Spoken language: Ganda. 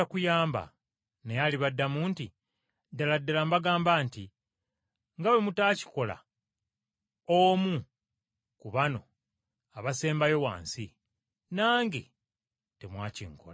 “Naye alibaddamu nti, ‘ddala ddala mbagamba nti, nga bwe mutaakikola omu ku bano abasembayo wansi, nange temwakinkola.’